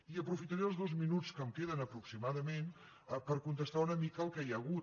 i aprofitaré els dos minuts que em queden aproximadament per contestar una mica el que hi ha hagut